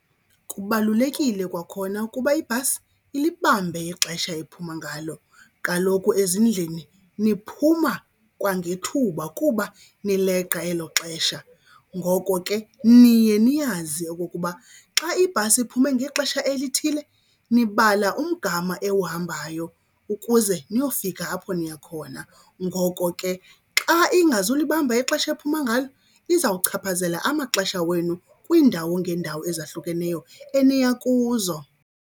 Kubalulekile kwakhona ukuba ibhasi ilibambe ixesha ephuma ngalo. Kaloku ezindlini niphuma kwangethuba kuba nileqa elo xesha, ngoko ke niye niyazi okokuba xa ibhasi iphume ngexesha elithile nibala umgama ewuhambayo ukuze niyofika apho niya khona. Ngoko ke xa ingazulibamba ixesha ephuma ngalo izawuchaphazela amaxesha wenu kwiindawo ngeendawo ezahlukeneyo eniya kuzo.